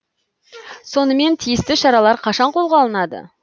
сонымен тиісті шаралар қашан қолға алынады